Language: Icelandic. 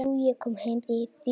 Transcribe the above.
Karla, konur, börn.